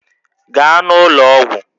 Gaa n'ụlọ ọgwụ!